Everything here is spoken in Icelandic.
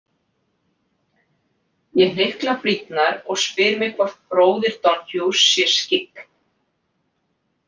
Ég hnykla brýnnar og spyr mig hvort bróðir Donoghues sé skyggn.